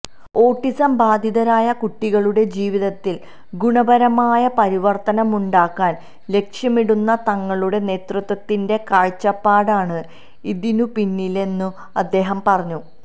autism ബാധിതരായ കുട്ടികളുടെ ജീവിതത്തില് ഗുണപരമായ പരിവര്ത്തനമുണ്ടാക്കാന് ലക്ഷ്യമിടുന്ന തങ്ങളുടെ നേതൃത്വത്തിന്റെ കാഴ്ചപ്പാടാണ് ഇതിനുപിന്നിലെന്നും അദ്ദേഹം പറഞ്ഞു